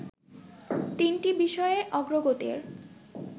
তিনটি বিষয়ে অগ্রগতির